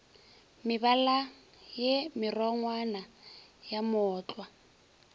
mebala ye merongwana ya mootlwa